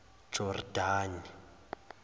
jordani